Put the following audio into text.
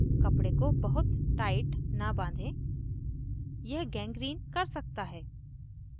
कपडे को बहुत tight न बाँधें यह gangrene कर सकता है